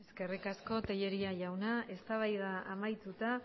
eskerrik asko tellería jauna eztabaida amaituta